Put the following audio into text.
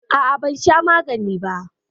A'a, ban sha magani ba.